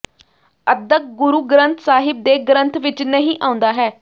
ਅਧਕ ਗੁਰੂ ਗ੍ਰੰਥ ਸਾਹਿਬ ਦੇ ਗ੍ਰੰਥ ਵਿਚ ਨਹੀਂ ਆਉਂਦਾ ਹੈ